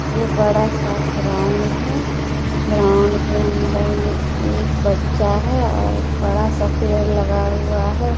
ये बड़ा सा ग्राउंड है ग्राउंड के अंदर में एक बच्चा है और बड़ा सा पेड़ लगा हुआ है।